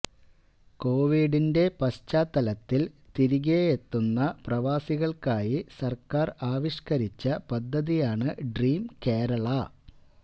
കൊവിഡിന്റെ പശ്ചാത്തലത്തിൽ തിരികെ എത്തുന്ന പ്രവാസികൾക്കായി സർക്കാർ ആവിഷ്കരിച്ച പദ്ധതിയാണ് ഡ്രീം കേരള